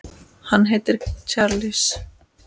Hann heitir Charles